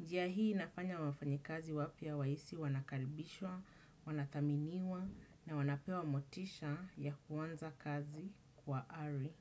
Njia hii inafanya wafanyikazi wapya wahisi wanakaribishwa, wanathaminiwa na wanapewa motisha ya kuanza kazi kwa ari.